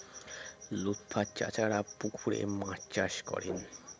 লুৎফার চাচারা পুকুরে মাছ চাষ করেন